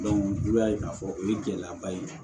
n'u y'a ye k'a fɔ o ye gɛlɛyaba ye